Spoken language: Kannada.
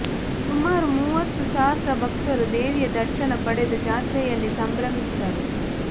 ಸುಮಾರು ಮೂವತ್ತು ಸಹಸ್ರ ಭಕ್ತರು ದೇವಿಯ ದರ್ಶನ ಪಡೆದು ಜಾತ್ರೆಯಲ್ಲಿ ಸಂಬ್ರಮಿಸಿದರು